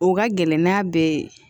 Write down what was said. O ka gɛlɛn n'a bɛɛ ye